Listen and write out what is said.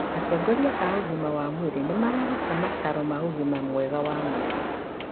Atongoria a ũgima wa mwĩrĩ nĩmararuta mataro ma ũgima mwega wa mwĩrĩ